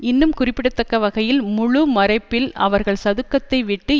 இன்னும் குறிப்பிடத்தக்க வகையில் முழு மறைப்பில் அவர்கள் சதுக்கத்தை விட்டு